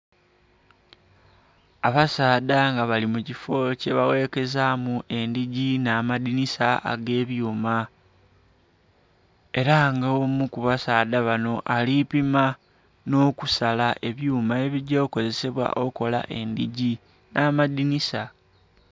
Abasaadha nga bali mukifoo kyebawekezamu edhigi n'adhinisa ag'ebyuma era nga omu kubasaadha bano alipima n'okusala ebyuma ebigya okukozesebwa okola edhigi n'amadhinisa.